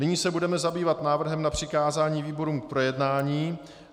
Nyní se budeme zabývat návrhem na přikázání výborům k projednání.